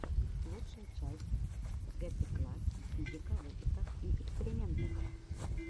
лучшая часть гетэкласс физика в опытах и экспериментах